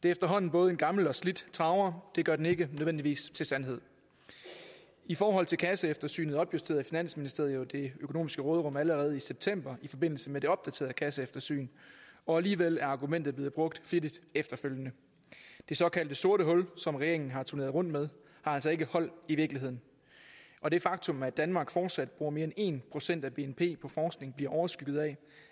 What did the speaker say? efterhånden både en gammel og slidt traver det gør den ikke nødvendigvis til sandhed i forhold til kasseeftersynet opjusterede finansministeriet jo det økonomiske råderum allerede i september i forbindelse med det opdaterede kasseeftersyn og alligevel er argumentet blevet brugt flittigt efterfølgende det såkaldte sorte hul som regeringen har turneret rundt med har altså ikke hold i virkeligheden og det faktum at danmark fortsat bruger mere end en procent af bnp på forskning bliver overskygget af